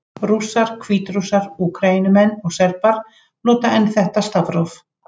Rússar, Hvítrússar, Úkraínumenn og Serbar nota enn þetta stafróf.